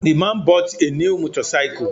The man bought a new motorcycle